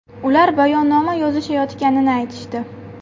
Ular bayonnoma yozishayotganini aytishdi.